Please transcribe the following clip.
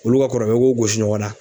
olu ka kɔrɔbaya i k'o gosi ɲɔgɔn na